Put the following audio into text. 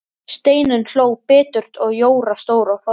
Steinunn hló biturt og Jóra stóð á fætur.